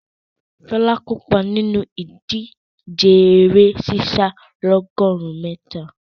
Ṣọlá kópa nínú ìdíje eré sísá ọlọ́gọ̀rún mítà.